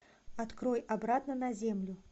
открой обратно на землю